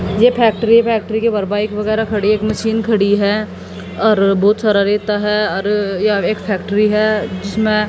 ये factory factory के बाहर एक बाइक वगैरा खड़ी है एक मशीन खड़ी है और बहुत सारा रेता है और यह एक फैक्ट्री है जिसमें--